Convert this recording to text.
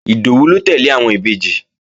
Ìdòwú ló tẹ́lẹ̀ àwọn Ìbejì